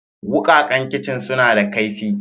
Wukakan kicin suna da kaifi.